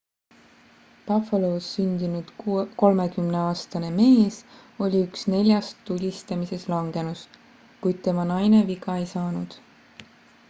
buffalos sündinud 30aastane mees oli üks neljast tulistamises langenust kuid tema naine viga ei saanud